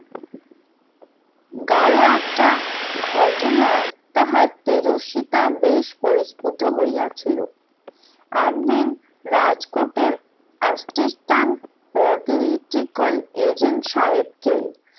গাঢ় একটা ঘটনায় তাহার তেজস্বীতা বেশ পরিস্কৃত হইয়াছিল, একদিন রাজকোটের asistant catheletical agent সাহেবকে